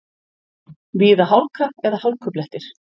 Víða hálka eða hálkublettir